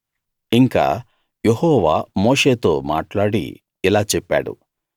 ఇంకా యెహోవా మోషేతో మాట్లాడి ఇలా చెప్పాడు